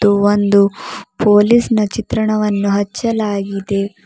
ಒಂದು ಪೊಲೀಸ್ ನ ಚಿತ್ರಣವನ್ನು ಹಚ್ಚಲಾಗಿದೆ.